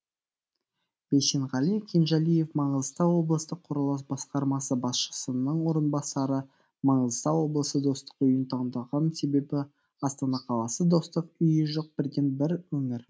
бейсенғали кенжалиев маңғыстау облыстық құрылыс басқармасы басшысының орынбасары маңғыстау облысы достық үйін таңдаған себебі астана қаласы достық үйі жоқ бірден бір өңір